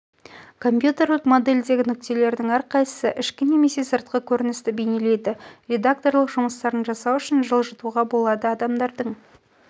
компьютерлік модельдегі нүктелерлердің әрқайсысы ішкі немесе сыртқы көріністі бейнелейді редакторлық жұмыстарын жасау үшін жылжытуға болады адамдардың